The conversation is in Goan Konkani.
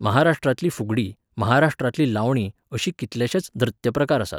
महाराष्ट्रांतली फुगडी, महाराष्ट्रांतली लावणी अशी कितलेशेच नृत्य प्रकार आसात.